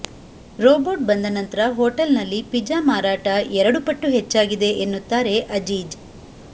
robot ಬಂದ ನಂತ್ರ hotel ನಲ್ಲಿ ಪಿಜ್ಜಾ ಮಾರಾಟ ಎರಡು ಪಟ್ಟು ಹೆಚ್ಚಾಗಿದೆ ಎನ್ನುತ್ತಾರೆ ಅಜೀಜ್